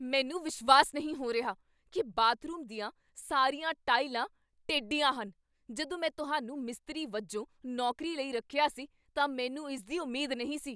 ਮੈਨੂੰ ਵਿਸ਼ਵਾਸ ਨਹੀਂ ਹੋ ਰਿਹਾ ਕੀ ਬਾਥਰੂਮ ਦੀਆਂ ਸਾਰੀਆਂ ਟਾਇਲਾਂ ਟੇਢੀਆਂ ਹਨ! ਜਦੋਂ ਮੈਂ ਤੁਹਾਨੂੰ ਮਿਸਤਰੀ ਵਜੋਂ ਨੌਕਰੀ ਲਈ ਰੱਖਿਆ ਸੀ ਤਾਂ ਮੈਨੂੰ ਇਸ ਦੀ ਉਮੀਦ ਨਹੀਂ ਸੀ।